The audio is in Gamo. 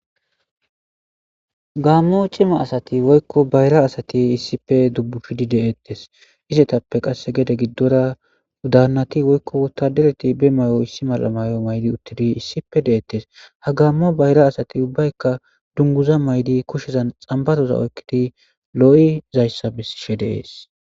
Gaammo c'ima asati woykko bayra asati iissippe dubbushidi deettes . Izetappe qasse gede giddora daannati woykko wotadereti be may7o issi mala mayo maydi uttidi issipe de7eettes. Ha gaammo bayra asati ubbaykka dunguza maydi kushezan xambaroza oykkidi loo'i zayssa bisishe deees.